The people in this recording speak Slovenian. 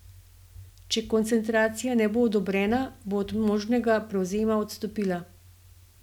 Če koncentracija ne bo odobrena, bo od možnega prevzema odstopila.